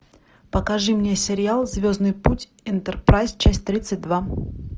покажи мне сериал звездный путь энтерпрайз часть тридцать два